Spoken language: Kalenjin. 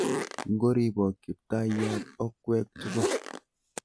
Ngoribok Kiptayat okwek tugul.